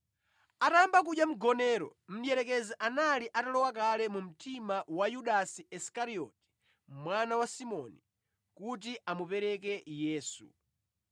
Atayamba kudya mgonero, mdierekezi anali atalowa kale mu mtima wa Yudasi Isikarioti mwana wa Simoni, kuti amupereke Yesu.